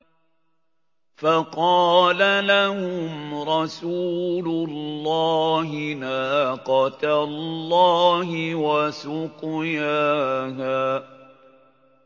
فَقَالَ لَهُمْ رَسُولُ اللَّهِ نَاقَةَ اللَّهِ وَسُقْيَاهَا